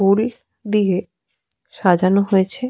ফুল দিয়ে সাজানো হয়েছে ।